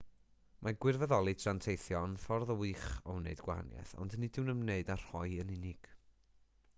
mae gwirfoddoli tra'n teithio yn ffordd wych o wneud gwahaniaeth ond nid yw'n ymwneud â rhoi yn unig